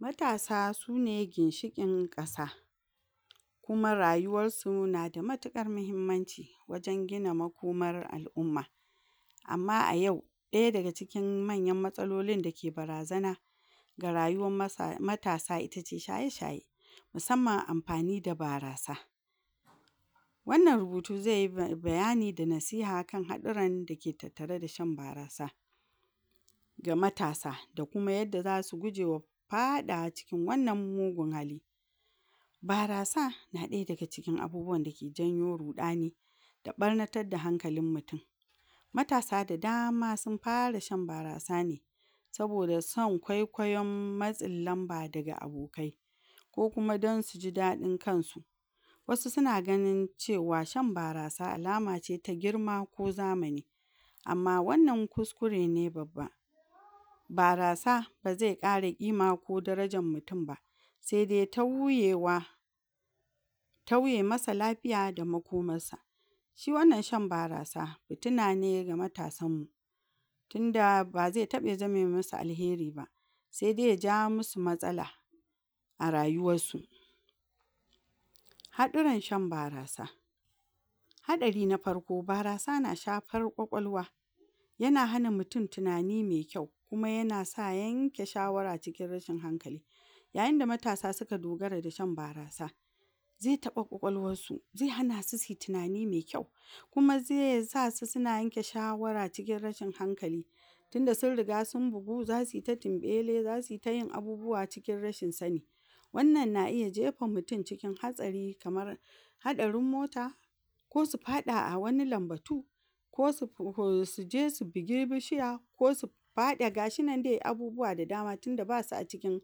Matasa sune ginshiƙin ƙasa kuma rayuwarsu nada matiƙar mahimmanci wajen gina makomar al'umma, amma a yau ɗaya daga cikin manyan matsalolin da ke barazana ga rayuwam masa.... matasa itace shaye-shaye, musamman amfani da barasa, wannan rubutu zeyi bayani da nasiha kan haɗurran dake tattare da shan barasa, ga matasa da kuma yadda zasu gujewa faɗawa cikin wannan mugun hali, barasa na ɗaya daga cikin abubuwanda ke janyo ruɗani da ɓarnatadda hankalin mutin, matasa da dama sin fara shan barasa ne saboda san kwaikwayon matsin lamba daga abokai, ko kuma dan suji daɗin kansu, wasu sina ganin cewa shan barasa alamace ta girma ko zamani, amma wannan kuskure ne babba, barasa ba ze ƙara ƙima ko darajar mutin ba, sede tauyewa, tauye masa lafiya da makomassa, shi wannan shan barasa fitina ne ga matasanmmu, tinda ba ze taɓa zame masu alheri ba sede ya ja masu matsala a rayuwassu. Haɗuran shan barasa; Haɗari na farko; Barasa na shafar ƙwaƙwalwa yana hana mutin tinani me kyau kuma yana sa yanke shawara cikin rashin hankali, yayinda matasa sika dogara da shan barasa ze taɓa ƙwaƙwassu ze hana su siyi tinani me kyau, kuma ze sasu sina yanke shawara cikin rashin hankali, tinda sin riga sin bugu zasi ta tinɓele zasi ta yin abubuwa cikin rashin sani, wannan na iya jefa mutin cikin hatsari kamar: Haɗarin mota, ko su faɗa a wani lambatu, ko su je su bigi bishiya ko su faɗa gashi nan de abubuwa da dama tinda basu a cikin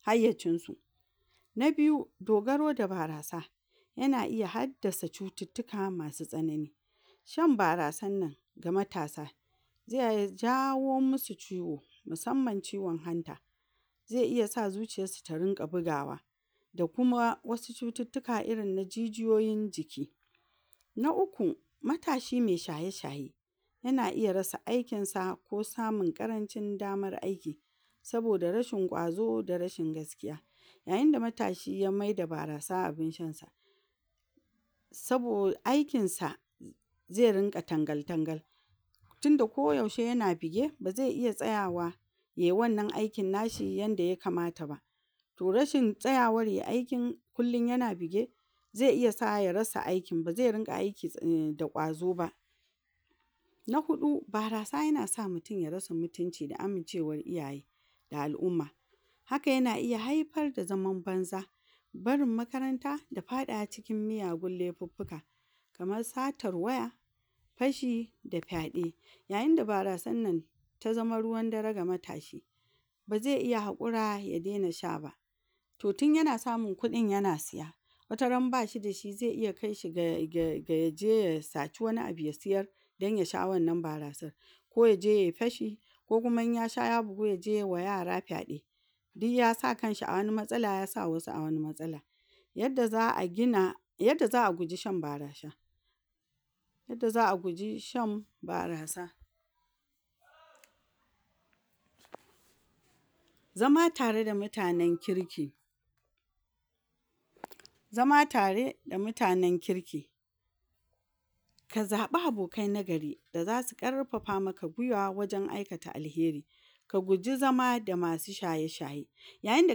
hayyacinsu. Na biyu: Dogaro da barasa yana iya haddasa cututtuka masu tsanani shan barasannan ga matasa ze jawo masu ciwo, musamman ciwon hanta, ze iya sa zuciyassu ta rinƙa bigawa da kuma wasu cututtuka irin na jijiyoyin jiki. Na uku: Matashi me shaye-shaye yana iaya rasa aikinsa ko samun ƙarancin damar aiki, saboda rashin ƙwazo da rashin gaskiya yayinda matshi ya maida barasa abin shansa sabo...aikinsa ze rinƙa tangal tangal tinda ko yaushe yana bige ba zai iya tsayawa yai wannan aikin nashi yanda ya kamata ba, to rashin tsayawar yai aikin kullin yana bige ze iya sawa ya rasa aikin ba ze rinƙa aikin da ƙwazo ba. Na huɗu: Barasa yana san mutin ya rasa mutinci da amincewar iyaye da al'umma, haka yana iya haifar da zaman banza barin makaranta da faɗawa cikin miyagun laifuffuka, kamar: Satar waya, fashi da fyaɗe, yayinda barasannan ta zama ruwan dare ga matashi ba ze iya haƙura ya dena sha ba, to tin yana samun kuɗin yana siya wata ran bashi da shi zai iya kai shi ga ga ga yaje ya saci wani abu ya siyar dan ya sha wannan barasar, ko yaje yai fashi ko kuma in yasha ya bugu yaje yai wa yara fyaɗe, diyyasa kanshi a wani matsala yasa wasu a wani matsala. Yadda za'a gina yadda za'a guji shan barasha, yadda za'a guji shan barasa zama tare da mutanen kirki, zama tare da mutanen kirki ka zaɓi abokai na gari da zasu ƙarfafa maka gwiwa wajen aikata alheri, ka guji zama da masu shaye-shaye, yayinda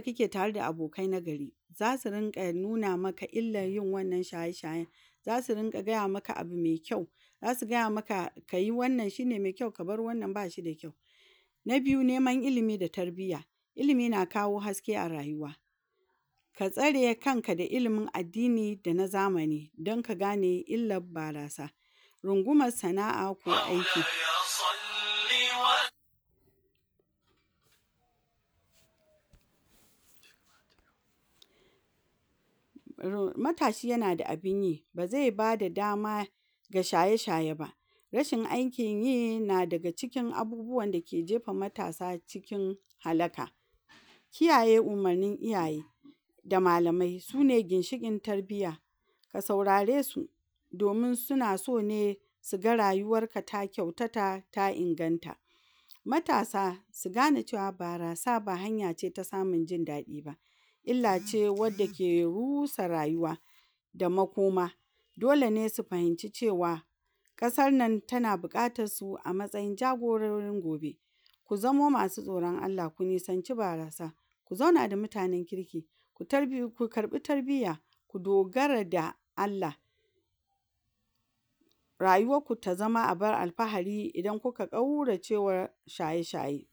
kake tare da abokai nagari zasu rinƙa nuna maka illan yin wannan shaye-shayen, zasu rinƙa gaya maka abu me kyau, zasu gaya maka kayi wannan shine me kyau, kabar wannan ba shi da kyau. Na biyu: Neman ilimi da tarbiya ilimi na kawo haske a rayuwa, ka tsare kanka da ilimi na addini da na zamani dan ka gane illab barasa, rungumas sana'a ko aiki, matashi yana da abin yi bazai bada dama ga shaye-shaye ba, rashin aikin yi na daga cikin abubuwanda ke jefa matasa cikin halaka, kiyaye umarnin iyaye da malamai sune ginshiƙin tarbiya, ka saurare su domin sina so ne siga rayuwarka ta kyautata ta inganta, matasa si gane cewa barasa ba hanya ce ta samun jin daɗi ba, illa ce wadda ke rusa rayuwa da makoma, dole ne su fahinci cewa ƙasar nan tana buƙatassu a matsayin jagororin gobe, ku zama masu tsoron Allah ku nisanci barasa ku zauna da mutanen kirki, ku tari...ku karɓi tarbiya ku dogara da Allah, rayuwarku ta zama abin alfahari idan kuna ƙauracewa shaye-shaye.